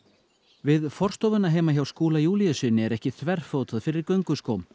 við forstofuna heima hjá Skúla Júlíussyni er ekki þverfótað fyrir gönguskóm